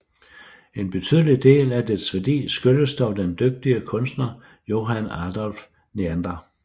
En betydelig del af dets værdi skyldes dog den dygtige kunstner Johann Adolph Neander